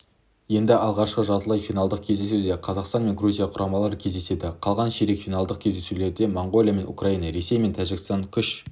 енді алғашқы жартылай финалдық кездесуде қазақстан мен грузия құрамалары кездеседі қалған ширек финалдық кездесулерде моңғолия мен украина ресей мен тәжікстан күш